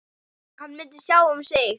Hann myndi sjá um sig.